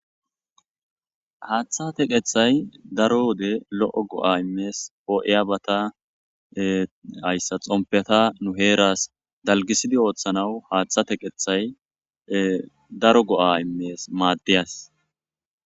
Haatha teqethay daro wode lo'o go'a immes poo'iyabata haysa xompeta nu heeras dalgisidi oothanawu haatha teqethay daro go'a immes maades .